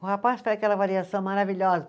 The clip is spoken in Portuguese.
O rapaz faz aquela avaliação maravilhosa.